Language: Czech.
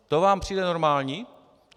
To vám přijde normální?